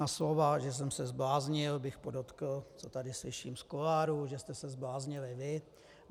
Na slova, že jsem se zbláznil, bych podotkl, to tady slyším z kuloárů, že jste se zbláznili vy.